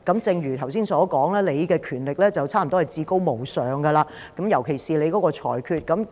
正如剛才所說，你的權力近乎至高無上，尤其是你的裁決。